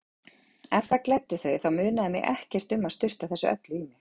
Ef það gleddi þau þá munaði mig ekkert um að sturta þessu öllu í mig.